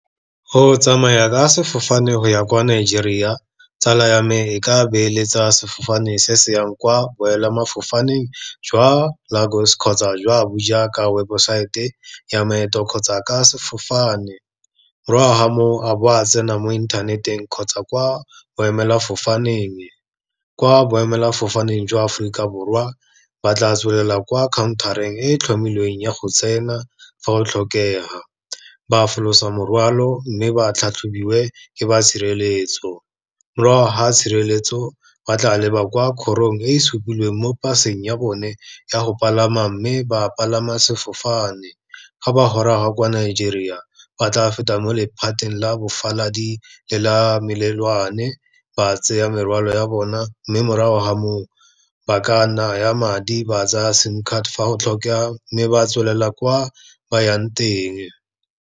Go tsamaya ka sefofane go ya kwa Nigeria, tsala ya me e ka beeletsa sefofane se se yang kwa jwa Lagos kgotsa jwa Abuja, ka webosaete ya maeto kgotsa ka sefofane. Morago ga mo, a bo a tsena mo inthaneteng kgotsa kwa boemelafofaneng, kwa boemelafofaneng jwa Aforika Borwa, ba tla tsholela kwa counter-reng e tlhomilweng ya go tsena, fa go tlhokega, ba folosa morwalo mme ba tlhatlhobiwe ke ba tshireletso. Morago ga tshireletso, ba tla leba kwa kgorong e supilweng mo paseng ya bone ya go palama, mme ba palama sefofane. Ga ba goroga kwa Nigeria, ba tla feta mo lephateng la bofaladi le la melelwane, ba tseya morwalo ya bona, mme morago ga moo ba ka naya madi ba tsaya sim card fa go tlhokega, mme ba tswelela kwa ba yang teng.